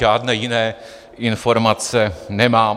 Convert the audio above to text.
Žádné jiné informace nemám.